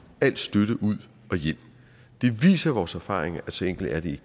al støtte ud og hjem det viser vores erfaringer at så enkelt er det